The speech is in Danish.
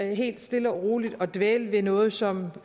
helt stille og roligt at dvæle ved noget som